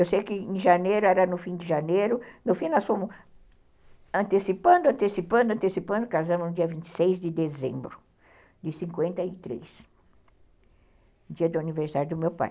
Eu sei que em janeiro, era no fim de janeiro, no fim nós fomos antecipando, antecipando, antecipando, casamos no dia vinte e seis de dezembro de cinquenta e três, dia do aniversário do meu pai.